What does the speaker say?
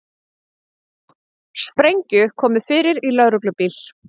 Sprengju komið fyrir í lögreglubíl